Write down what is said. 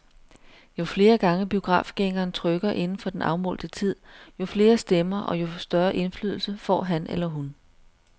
Jo flere gange biografgængeren trykker inden for den afmålte tid, jo flere stemmer og jo større indflydelse får han eller hun.